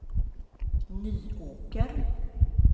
Nyåker